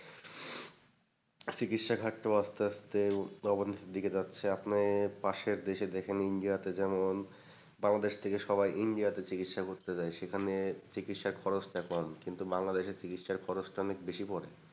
চিকিৎসা ঘাটটাও আসতে আসতে অনেক নিচের দিকে যাচ্ছে। আপনি পাশের দেশে দেখেন ইন্ডিয়াতে যেমন বাংলাদেশ থেকে সবাই ইন্ডিয়াতে চিকিৎসা করতে যায় সেখানে চিকিৎসার খরচটা কম, কিন্তু বাংলাদেশে চিকিৎসার খরচটা অনেক বেশি পরে।